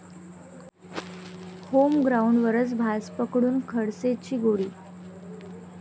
होमग्राऊंडवरच भाजपकडून खडसेंची कोंडी